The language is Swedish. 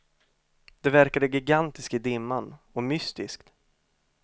Det verkade gigantiskt i dimman, och mystiskt.